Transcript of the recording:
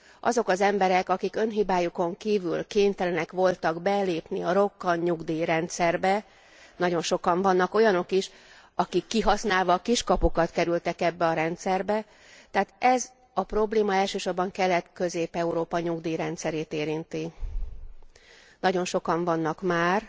Azok az emberek, akik önhibájukon kívül kénytelenek voltak belépni a rokkantnyugdíjrendszerbe, nagyon sokan vannak olyanok is, akik kihasználva a kiskapukat kerültek ebbe a rendszerbe, tehát ez a probléma elsősorban Kelet Közép Európa nyugdíjrendszerét érinti, nagyon sokan vannak már.